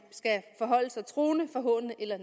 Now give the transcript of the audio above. forholder sig truende forhånende eller